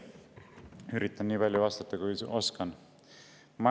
Üritan vastata nii palju, kui oskan.